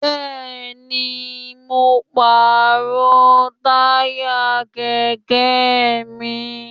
Bẹ́ẹ̀ni, mo pàrọ̀ táyà kẹ̀kẹ́ mi